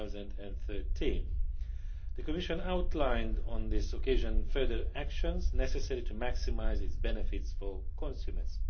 2013. The Commission outlined on this occasion further actions necessary to maximise its benefits for consumers.